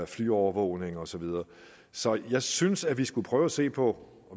flyovervågning og så videre så jeg synes at vi skal prøve at se på